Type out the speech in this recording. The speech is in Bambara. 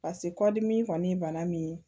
pase kɔdimi kɔni ye bana min ye